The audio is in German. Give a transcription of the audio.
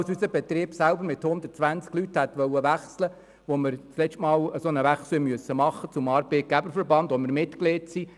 Als unser Betrieb mit 120 Leuten wechseln wollte, wechselten wir zum Arbeitgeberverband, bei welchem wir Mitglied sind.